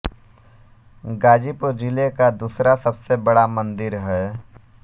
ग़ाज़ीपुर जिले का दुसरा सबसे बडा मन्दिर है